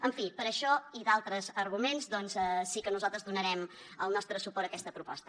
en fi per això i d’altres arguments doncs sí que nosaltres donarem el nostre suport a aquesta proposta